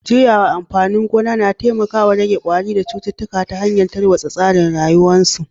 Juyawa amfanin gona na taimakawa rage kwari da cututtuka ta hanyar tarwatsa tsarin rayuwarsu